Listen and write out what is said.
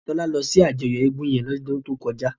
Tola lò si àjòyò égùn yèn lòdùn tókòjá